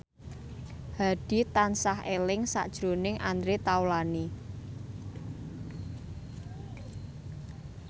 Hadi tansah eling sakjroning Andre Taulany